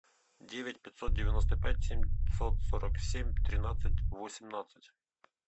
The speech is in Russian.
девять пятьсот девяносто пять семьсот сорок семь тринадцать восемнадцать